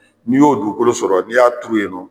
N'i y'o dugukolo sɔrɔ ni y'a turu yen nɔ